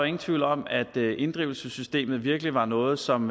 ingen tvivl om at inddrivelsessystemet virkelig var noget som